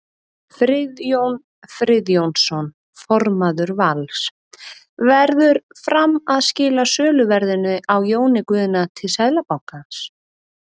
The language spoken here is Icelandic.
Friðjón Friðjónsson formaður Vals: Verður Fram að skila söluverðinu á Jóni Guðna til Seðlabankans?